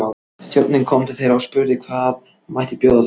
Þjónninn kom til þeirra og spurði hvað mætti bjóða þeim.